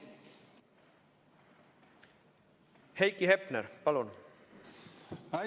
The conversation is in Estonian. Heiki Hepner, palun!